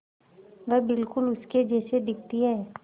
वह बिल्कुल उसके जैसी दिखती है